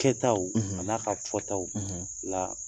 Kɛtaw an'a ka fɔtaw la